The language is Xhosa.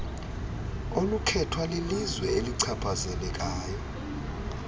olukhethwa lilizwe elichaphazelekayo